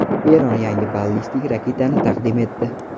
Eron yangi ballistik raketani taqdim etdi.